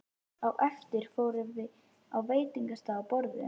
Á eftir fórum við á veitingastað og borðuðum.